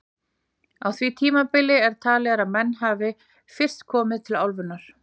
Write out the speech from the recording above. Á því tímabili er talið að menn hafi fyrst komið til álfunnar.